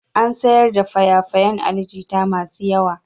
An sayar da faye-fayan Ali Jita masu yawa.